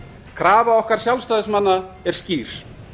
krafa okkar sjálfstæðismanna er skýr